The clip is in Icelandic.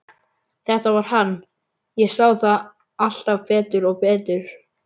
Þetta var hann, ég sá það alltaf betur og betur.